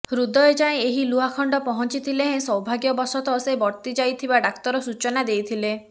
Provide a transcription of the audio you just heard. ହୃଦୟ ଯାଏ ଏହି ଲୁହାଖଣ୍ଡ ପହଞ୍ଚିଥିଲେ ହେଁ ସୌଭାଗ୍ୟବଶତଃ ସେ ବର୍ତ୍ତି ଯାଇଥିବା ଡାକ୍ତର ସୂଚନା ଦେଇଥିଲେ